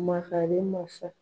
Makari masa.